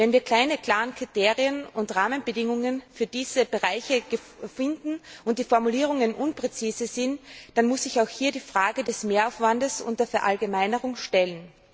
Wenn wir keine klaren Kriterien und Rahmenbedingungen für diese Bereiche finden und die Formulierungen unpräzise sind, dann muss ich auch hier die Frage des Mehraufwands und der Verallgemeinerung stellen.